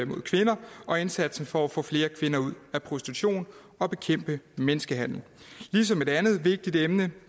mod kvinder og indsatsen for at få flere kvinder ud af prostitution og bekæmpe menneskehandel et andet vigtigt emne